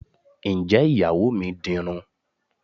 Ǹjẹ́ Ìyàwó mi dirun?